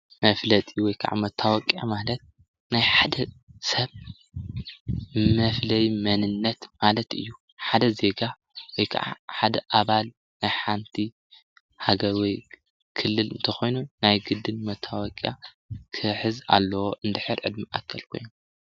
መፍለጢ ወይ ከዓ መታወቅያ ማለት ናይ ሓደ ሰብ መፍለዩ መንነት ማለት እዩ። ሓደ ዜጋ ወይከዓ ሓደ ኣባል ናይ ሓንቲ ሃገር ወይ ሓደ ኽልል ናይ ግድን መታወቅያ ክሕዝ ኣለዎ እንድሕር ዕድመ አከል ኾይኑ።